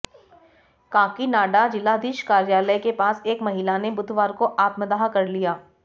काकीनाडा जिलाधीश कार्यालय के पास एक महिला ने बुधवार को आत्मदाह कर लिया